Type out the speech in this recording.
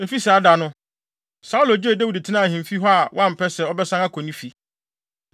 Efi saa da no, Saulo gyee Dawid tenaa ahemfi hɔ a wampɛ sɛ ɔbɛsan akɔ ne fi.